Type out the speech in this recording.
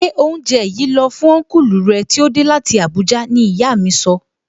Gbé oúnjẹ yìí lọ fún Ọnkulu rẹ tí ó dé láti Abuja! Ní ìyá mi sọ